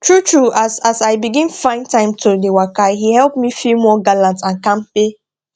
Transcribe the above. true true as as i begin find time to dey waka e help me feel more gallant and kampay